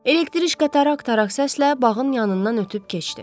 Elektriçka tarak-tarak səslə bağın yanından ötüb keçdi.